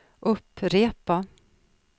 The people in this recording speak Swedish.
upprepa